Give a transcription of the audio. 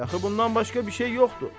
Dəxi bundan başqa bir şey yoxdur.